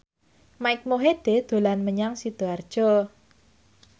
Mike Mohede dolan menyang Sidoarjo